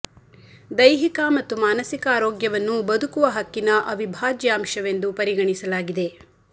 ದೈಹಿಕ ಮತ್ತು ಮಾನಸಿಕ ಆರೋಗ್ಯವನ್ನು ಬದುಕುವ ಹಕ್ಕಿನ ಅವಿಭಾಜ್ಯ ಅಂಶವೆಂದು ಪರಿಗಣಿಸಲಾಗಿದೆ